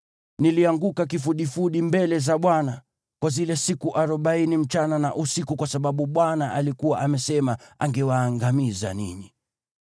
Nilianguka kifudifudi mbele za Bwana kwa zile siku arobaini usiku na mchana kwa sababu Bwana alikuwa amesema angewaangamiza ninyi.